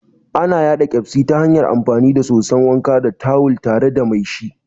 Ana yaɗa Ƙyazbi ta hanyar amfani da soson wanka da tawul tare da mai shi